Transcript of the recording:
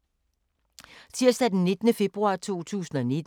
Tirsdag d. 19. februar 2019